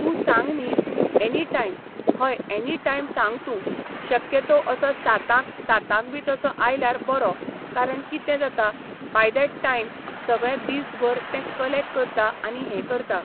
तूं सांग न्ही एनी टायम हय एनी टायम सांग तूं शक्यतो असो सातांक सातांक बी तसो आयल्यार बरो कारण कितें जाता बाय डॅट टायम सगळें दीस भर तें कलॅक्ट करता आनी हें करता.